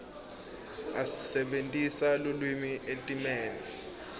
asebentisa lulwimi etimeni